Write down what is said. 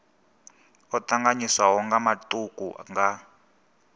o tanganyiswaho nga matuku nga